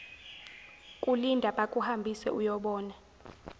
kulinda bakuhambise uyobona